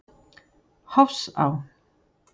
Hofsá